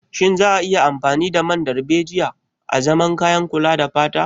Shin za a iya amfani da man darbejiya azaman kayan kula da fata.